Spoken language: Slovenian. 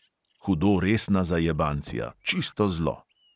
Hudo resna zajebancija, čisto zlo.